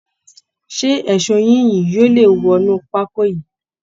Ṣé eṣó yín yìí yóò lè wọnú pákó yìí